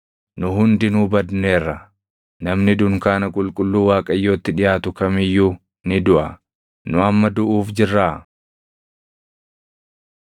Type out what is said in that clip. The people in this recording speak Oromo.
Namni dunkaana qulqulluu Waaqayyootti dhiʼaatu kam iyyuu ni duʼa. Nu amma duʼuuf jirraa?”